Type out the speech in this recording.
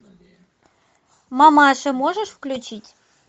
мамаши можешь включить